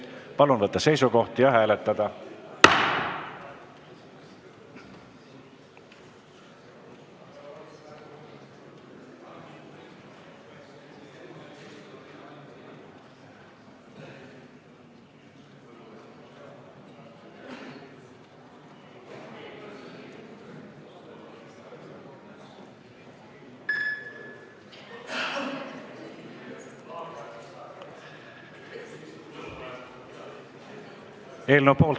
Palun võtta seisukoht ja hääletada!